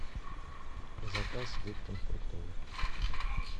заказ липтон фруктовый